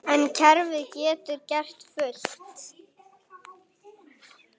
En kerfið getur gert fullt.